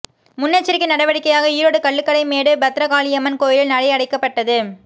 முன்னெச்சரிக்கை நடவடிக்கையாக ஈரோடு கள்ளுக்கடை மேடு பத்ரகாளியம்மன் கோயில் நடை அடைக்கப்பட்டது